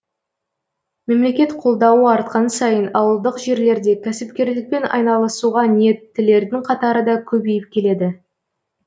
мемлекет қолдауы артқан сайын ауылдық жерлерде кәсіпкерлікпен айналысуға ниеттілердің қатары да көбейіп келеді